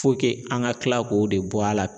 an ka kila k'o de bɔ a la